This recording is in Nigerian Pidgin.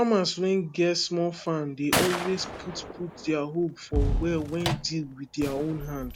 farmers wen get small farms dey always put put dier hope for well wen dig wit dier own hand